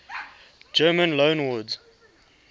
german loanwords